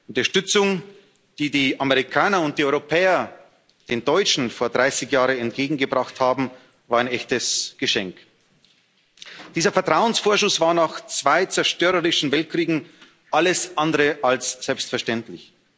Die Unterstützung, die die Amerikaner und die Europäer den Deutschen vor 30 Jahren entgegengebracht haben, war ein echtes Geschenk. Dieser Vertrauensvorschuss war nach zwei zerstörerischen Weltkriegen alles andere als selbstverständlich.